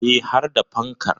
E, har da fankar.